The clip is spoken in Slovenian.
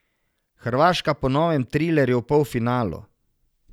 Hrvaška po novem trilerju v polfinalu!